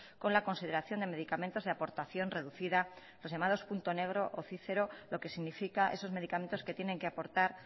con la consideración de medicamentos de aportación reducida los llamados punto negro o cícero lo que significa esos medicamentos que tienen que aportar